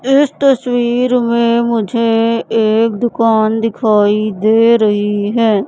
इस तस्वीर में मुझे एक दुकान दिखाई दे रही है।